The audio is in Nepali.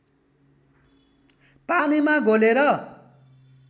पानीमा घोलेर